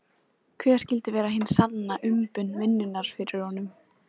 Hver skyldi vera hin sanna umbun vinnunnar fyrir honum?